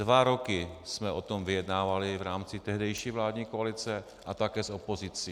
Dva roky jsme o tom vyjednávali v rámci tehdejší vládní koalice a také s opozicí.